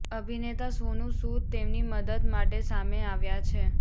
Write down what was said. અભિનેતા સોનૂ સૂદ તેમની મદદ માટે સામે આવ્યા છે